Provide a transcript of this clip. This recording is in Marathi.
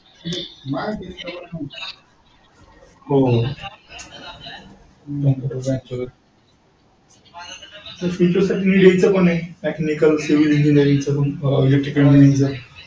हो future तर यांचं पण आहे Mechanical civil engineering